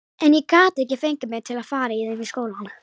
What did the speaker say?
En ég gat ekki fengið mig til að fara í þeim í skólann.